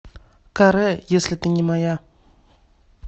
ка ре если ты не моя